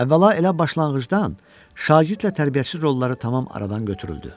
Əvvəla elə başlanğıcdan şagirdlə tərbiyəçi rolları tamam aradan götürüldü.